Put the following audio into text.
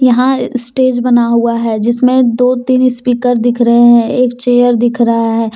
यहां स्टेज बना हुआ है जिसमें दो तीन स्पीकर दिख रहे हैं एक चेयर दिख रहा है।